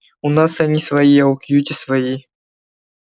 у нас они свои а у кьюти свои